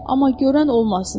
Amma görən olmasın.